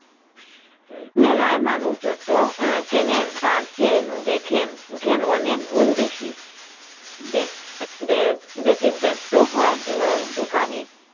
মেলায় মানুষ যত কেনেন তারচেয়ে দেখেন অনেক গুন্ বেশি বেতি ব্যাস্ত হয় দুকানি